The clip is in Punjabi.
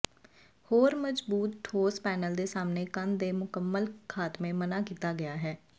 ਹੋਰ ਮਜਬੂਤ ਠੋਸ ਪੈਨਲ ਦੇ ਸਾਹਮਣੇ ਕੰਧ ਦੇ ਮੁਕੰਮਲ ਖਾਤਮੇ ਮਨ੍ਹਾ ਕੀਤਾ ਗਿਆ ਹੈ